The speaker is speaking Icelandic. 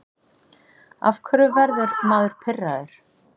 Af hverju verður maður pirraður?